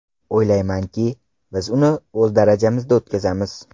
O‘ylaymanki, biz uni o‘z darajamizda o‘tkazamiz.